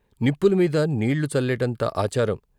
నిప్పుల మీద నీళ్ళు చల్లేటంత ఆచారం.